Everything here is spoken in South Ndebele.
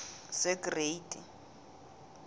segreyidi